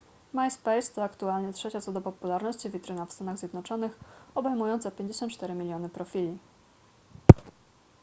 myspace to aktualnie trzecia co do popularności witryna w stanach zjednoczonych obejmująca 54 miliony profili